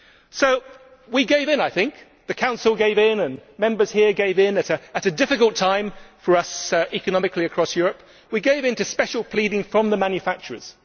So we gave in, I think the Council gave in, and Members here gave in at what is a difficult time for us economically across Europe. We gave in to special pleading from the manufacturers.